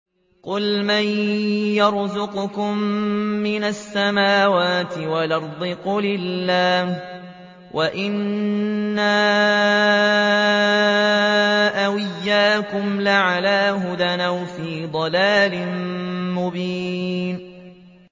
۞ قُلْ مَن يَرْزُقُكُم مِّنَ السَّمَاوَاتِ وَالْأَرْضِ ۖ قُلِ اللَّهُ ۖ وَإِنَّا أَوْ إِيَّاكُمْ لَعَلَىٰ هُدًى أَوْ فِي ضَلَالٍ مُّبِينٍ